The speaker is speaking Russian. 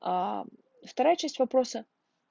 аа вторая часть вопросы